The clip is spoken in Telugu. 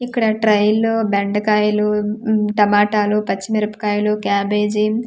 ఇక్కడ ట్రైలలో బెండకాయిలు ఊ టమాటా లు పచ్చి మిరపకాయలు క్యాబేజీ .]